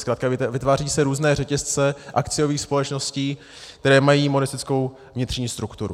Zkrátka vytváří se různé řetězce akciových společností, které mají monistickou vnitřní strukturu.